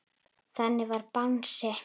Þannig var Bangsi.